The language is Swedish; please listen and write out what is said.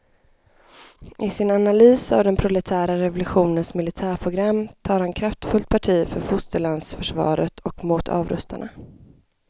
I sin analys av den proletära revolutionens militärprogram tar han kraftfullt parti för fosterlandsförsvaret och mot avrustarna.